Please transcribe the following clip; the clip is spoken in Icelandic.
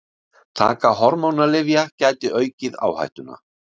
Taka hormónalyfja gæti aukið áhættuna.